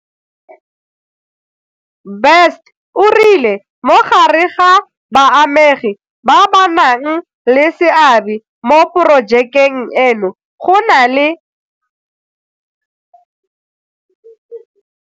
Best o rile mo gare ga baamegi ba ba nang le seabe mo porojekeng eno go na le.